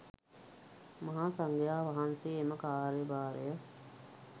මහා සංඝයා වහන්සේ එම කාර්යභාරය